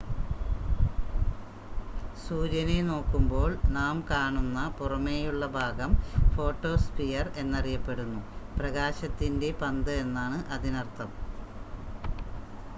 "സൂര്യനെ നോക്കുമ്പോൾ നാം കാണുന്ന പുറമേയുള്ള ഭാഗം ഫോട്ടോസ്ഫിയർ എന്നറിയപ്പെടുന്നു "പ്രകാശത്തിന്റെ പന്ത്" എന്നാണ് അതിനർത്ഥം.